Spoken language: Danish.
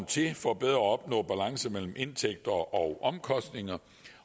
til for bedre at opnå balance mellem indtægter og omkostninger